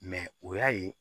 o y'a ye